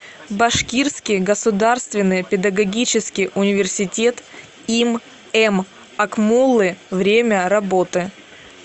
башкирский государственный педагогический университет им м акмуллы время работы